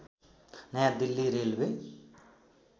नयाँ दिल्ली रेलवे